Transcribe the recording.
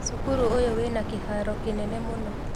Cukuru ũyũ wĩna kĩharo kĩnene mũno